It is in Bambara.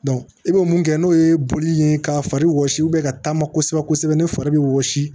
i bɛ mun kɛ n'o ye boli ye ka fari wɔsi ka taama kosɛbɛ kosɛbɛ ni fari bɛ wɔsi